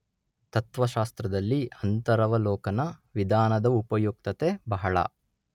ತತ್ತ್ವಶಾಸ್ತ್ರದಲ್ಲಿ ಅಂತರವಲೋಕನ ವಿಧಾನದ ಉಪಯುಕ್ತತೆ ಬಹಳ.